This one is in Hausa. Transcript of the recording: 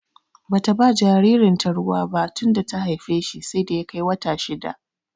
Bata ba jaririn ta ruwa bah tunda ta haife shi sai da ya kai wata shidda